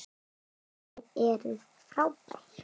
Þið eruð frábær.